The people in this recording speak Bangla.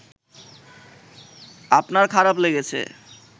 আপনার খারাপ লেগেছে